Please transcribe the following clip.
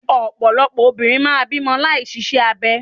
Ọ̀pọ̀lọpọ̀ obìnrin máà ń bímọ láì ṣiṣẹ́ abẹ.